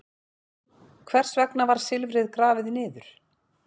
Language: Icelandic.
Hvers vegna var silfrið grafið niður?